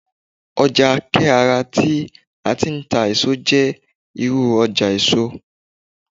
ọja ke ara ti a ti n ta eso je iru ọjà èso